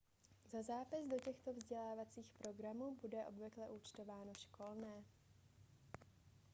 za zápis do těchto vzdělávacích programů bude obvykle účtováno školné